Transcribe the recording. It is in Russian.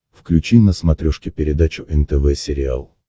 включи на смотрешке передачу нтв сериал